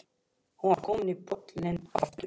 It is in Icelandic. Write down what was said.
Hún var komin í bolinn aftur.